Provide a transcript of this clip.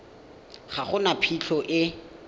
ga go na phitlho e